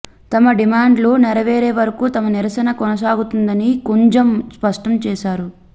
తమ డిమాండ్లు నెరవేరేవరకు తమ నిరసన కొనసాగుతుందని కుంజమ్ స్పష్టం చేసారు